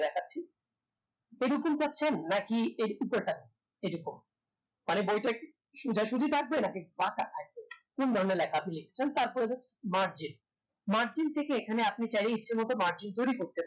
এরকম চাচ্ছেন নাকি এই চিত্রটা এরকম মানে বইটা কি সোজাসুজি থাকবে নাকি বাকা থাকবে কোন ধরনের লেখা আপনি লিখতে চান তারপর margin margin থেকে এখানে আপনি চাইলে ইচ্ছেমত margin তৈরি করতে পারেন